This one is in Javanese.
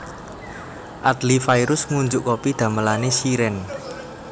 Adly Fairuz ngunjuk kopi damelane Shireen